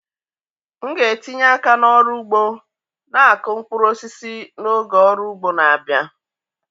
M ga-etinye aka n'ọrụ ugbo na-akụ mkpụrụ osisi n'oge ọrụ ugbo na-abịa.